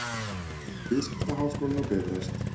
Viðskiptaháskólinn á Bifröst.